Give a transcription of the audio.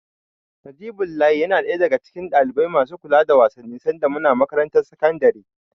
Najibullahi yana ɗaya daga cikin ɗalibai masu kula da wasanni sanda muna makarantar sakandare.